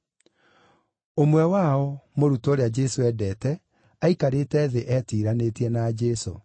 Ũmwe wao, mũrutwo ũrĩa Jesũ endete, aikarĩte thĩ etiiranĩtie na Jesũ.